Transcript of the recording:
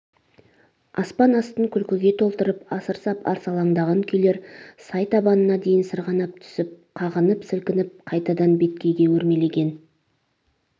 аспан астын күлкіге толтырып асыр сап арсалаңдаған күйлер сай табанына дейін сырғанап түсп қағынып-сілкініп қайтадан беткейге өрмелеген